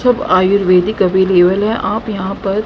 जब आयुर्वेदिक अवेलेबल है आप यहां पर--